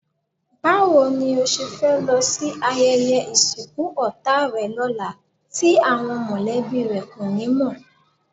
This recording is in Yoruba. Báwo ni o ṣe fẹ́ lọ sí ayẹyẹ ìsìnkú ọ̀tá rẹ lọ́la tí àwọn mọ̀lẹ́bí rẹ kò ní mọ̀?